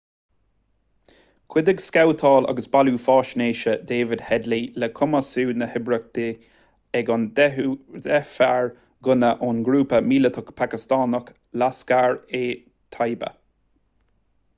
chuidigh scabhtáil agus bailiú faisnéise david headley le cumasú na hoibríochta ag an 10 fear gunna ón ngrúpa míleatach pacastánach laskhar-e-taiba